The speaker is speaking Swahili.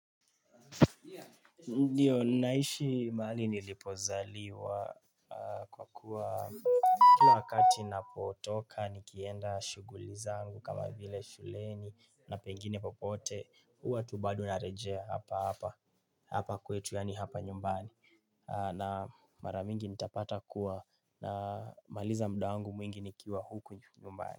Ndiyo ninaishi mahali nilipozaliwa, kwa kuwa Kila wakati ninapotoka nikienda shughuli zangu, kama vile shuleni na pengine popote, huwa tu bado narejea hapa hapa, hapa kwetu yaani hapa nyumbani na mara mingi nitapata kuwa na maliza muda wangu mwingi nikiwa huku nyumbani.